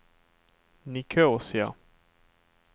Nicosia